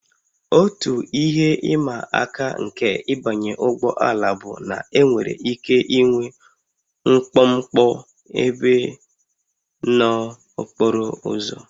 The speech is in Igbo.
Otu ihe ịma aka nke ịbanye ụgbọ ala bụ na enwere ike ịnwe mkpọmkpọ ebe n'okporo ụzọ